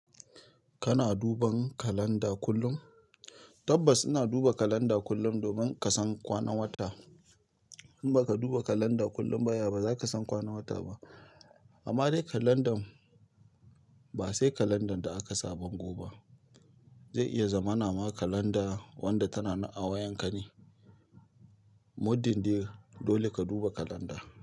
Kana duban kalanda kullum? Tabbas ina duba kalanda kullum domin ka san kwanan wata. In baka duba kalanda kullum ba ya, ba za ka san kwanan wata ba. Amma dai kalandan ba sai kalandan da aka sa bango ba. Zai iya zama na ma kalanda wanda tana a wayan ka ne. Muddin dai dole ka duba kalanda.